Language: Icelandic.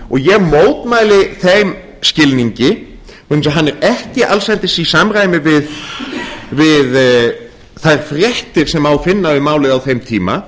ég mótmæli þeim skilningi vegna þess að hann er ekki allsendis í samræmi við þær fréttir sem má finna um málið á þeim tíma